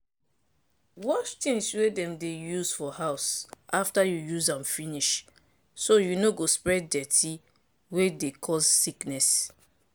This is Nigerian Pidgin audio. wash tins wey dem dey use for house after you use am finish so you no go spread dirty wey dey cause sickness.